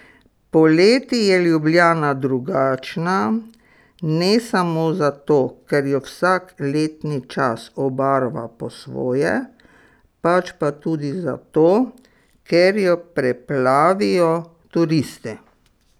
Poleti je Ljubljana drugačna, ne samo zato, ker jo vsak letni čas obarva po svoje, pač pa tudi zato, ker jo preplavijo turisti.